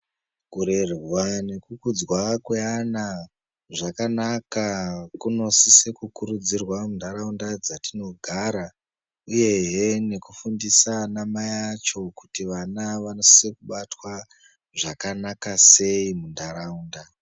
Kurerwa neku kudzwa kwe ana zvakanaka kuno sise ku kurudzirwa mu ndaraunda dzatinogara uyehe neku fundisa ana mai acho kuti vana vanosise kubatwa zvakanaka sei mu ndaraunda.